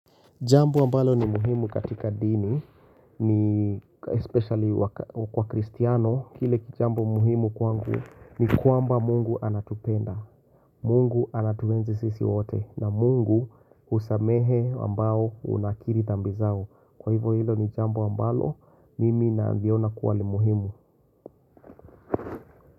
Jambo ambalo ni muhimu katika dini, ni especially kwa kristiano, kile kijambo muhimu kwangu ni kwamba Mungu anatupenda, Mungu anatuenzi sisi wote, na Mungu husamehe ambao unakiri dhambi zao. Kwa hivyo hilo ni jambo ambalo, mimi naviona kuwa ni muhimu.